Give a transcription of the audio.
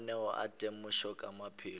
mananeo a temošo ka maphelo